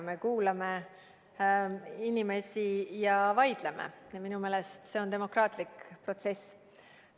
Me kuulame inimesi ja vaidleme – minu meelest see on demokraatlik protsess.